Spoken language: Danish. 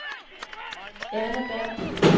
Erna Berg